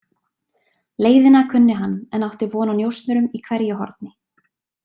Leiðina kunni hann en átti von á njósnurum í hverju horni.